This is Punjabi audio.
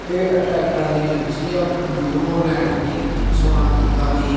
ਤੇ ਇਹ ਟਰੈਕਟਰਾਂ ਦੀ ਏਜੰਸੀ ਆ ਨਿਊ ਹੋਲੈਂਡ ਦੀ ਸੋਨਾਲੀਕਾ ਦੀ।